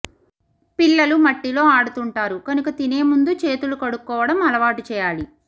పిల్లలు మట్టిలో ఆడుతుంటారు కనుక తినేముందు చేతులు కడుక్కోవడం అలవాటు చేయాలి